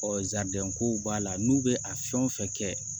zadɛnkow b'a la n'u bɛ a fɛn o fɛn kɛ